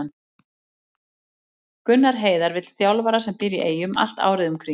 Gunnar Heiðar vill þjálfara sem býr í Eyjum allt árið um kring.